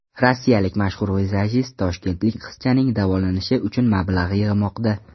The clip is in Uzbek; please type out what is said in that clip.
Rossiyalik mashhur vizajist toshkentlik qizchaning davolanishi uchun mablag‘ yig‘moqda.